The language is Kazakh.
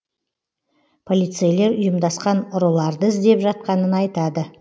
полицейлер ұйымдасқан ұрыларды іздеп жатқанын айтады